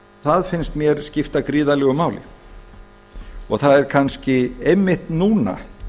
það finnst mér skipta gríðarlegu máli það er kannski einmitt núna